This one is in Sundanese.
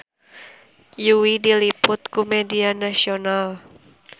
Yui diliput ku media nasional